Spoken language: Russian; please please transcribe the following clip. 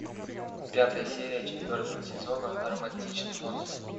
пятая серия четвертого сезона романтичный монстр